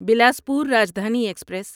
Bilaspur Rajdhani express